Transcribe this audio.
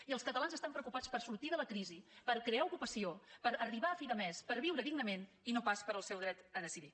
i els catalans estan preocupats per sortir de la crisi per crear ocupació per arribar a fi de mes per viure dignament i no pas pel seu dret a decidir